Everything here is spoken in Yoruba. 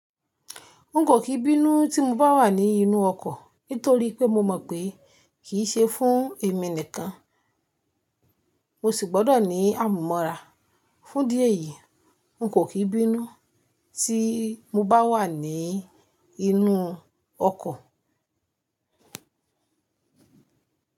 N kò fi bínú tí mo bá wà ní inú ọkọ̀, nítorí pé mo mọ̀ pé kìí ṣe fún èmi nìkan, mo sì gbọ́dọ̀ ní àmúmóra. Fún díẹ̀ yìí, n kò kí bínú tí mo bá wà ní inú ọkọ̀.